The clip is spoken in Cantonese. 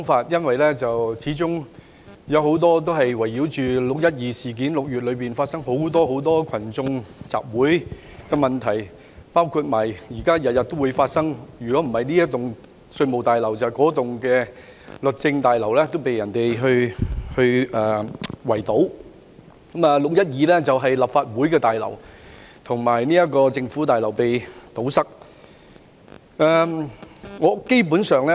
議案基本圍繞"六一二"事件，以及6月發生的多次群眾集會，包括近來每天發起的行動，例如圍堵稅務大樓、律政中心等，而6月12日則是立法會綜合大樓和政府總部被圍堵。